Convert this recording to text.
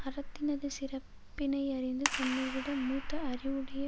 அறத்தினது சிறப்பினையறிந்து தன்னைவிட மூத்த அறிவுடைய